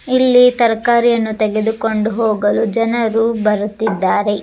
ಇಲ್ಲಿ ತರಕಾರಿಯನ್ನು ತೆಗೆದುಕೊಂಡು ಹೋಗಲು ಜನರು ಬರುತ್ತಿದ್ದಾರೆ.